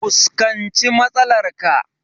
Fuskanci matsalar ka!